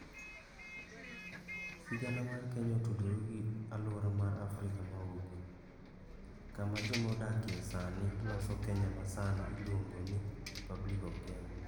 Sigana mar Kenya otudore gi alwora mar Afrika ma Ugwe, kama joma odakie sani loso Kenya ma sani iluongo ni Republic of Kenya.